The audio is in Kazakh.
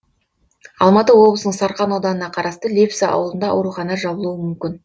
алматы облысының сарқан ауданына қарасты лепсі ауылында аурухана жабылуы мүмкін